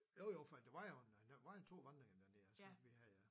Jo jo for det var jo en den var en 2 gange inden jeg tror ikke vi havde